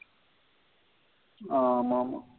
ஆமா ஆமா.